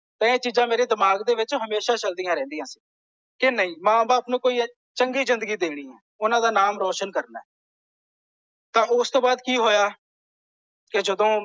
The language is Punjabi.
ਤੇ ਇਹ ਚੀਜ਼ਾਂ ਮੇਰੇ ਦਿਮਾਗ ਦੇ ਵਿੱਚ ਹਮੇਸ਼ਾ ਚੱਲ ਦੀਆਂ ਰਹਿੰਦੀਆਂ। ਕਿ ਨਹੀਂ ਮਾਂ ਬਾਪ ਨੂੰ ਕੋਈ ਚੰਗੀ ਜਿੰਦਗੀ ਦੇਣੀ ਹੈ। ਓਹਨਾ ਦਾ ਨਾਮ ਰੋਸ਼ਨ ਕਰਨਾ ਹੈ। ਤਾਂ ਉਸ ਤੋਂ ਬਾਅਦ ਕਿ ਹੋਇਆ। ਕਿ ਜਦੋਂ।